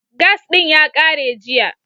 Gas ɗin ya ƙare jiya.